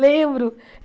Lembro!